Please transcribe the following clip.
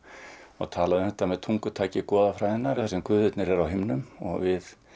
og tala um þetta með tungutaki þar sem guðirnir eru á himnum og við